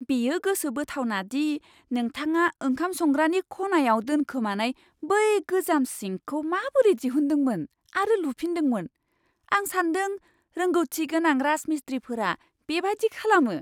बेयो गोसोबोथावना दि नोंथाङा ओंखाम संग्रानि खनायाव दोनखोमानाय बै गोजाम सिंकखौ माबोरै दिहुनदोंमोन आरो लुफिनदोंमोन। आं सान्दों रोंगौथिगोनां राजमिस्त्रीफोरा बेबादि खालामो।